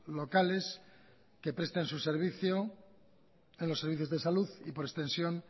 locales que presten su servicio en los servicios de salud y por extensión